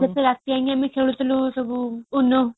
କେତେ ରାତି ଜାକେ ଆମେ ଖେଳୁ ଥିଲେ ସବୁ